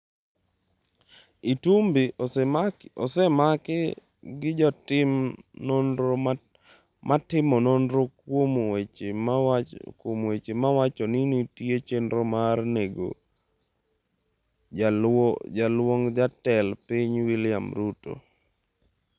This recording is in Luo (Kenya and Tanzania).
Itumbi osemaki gi jotim nonro matimo nonro kuom weche mawacho ni nitie chenro mar nego Jaluong' Jatend Piny William Ruto.